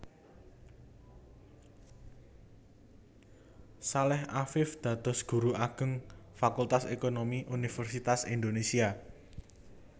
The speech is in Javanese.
Saleh Afiff dados Guru Ageng Fakultas Ekonomi Universitas Indonésia